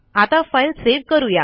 आता file save करू या